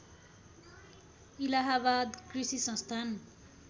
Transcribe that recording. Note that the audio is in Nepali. इलाहाबाद कृषि संस्थान